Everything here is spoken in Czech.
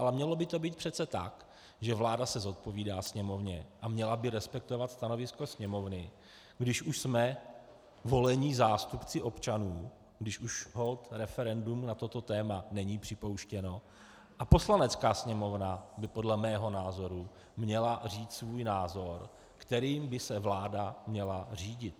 Ale mělo by to být přece tak, že vláda se zodpovídá Sněmovně a měla by respektovat stanovisko Sněmovny, když už jsme volení zástupci občanů, když už holt referendum na toto téma není připouštěno, a Poslanecká sněmovna by podle mého názoru měla říct svůj názor, kterým by se vláda měla řídit.